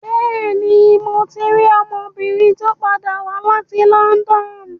Bẹ́ẹ̀ni, mo ti rí ọmọbìnrin tó padà wá láti London.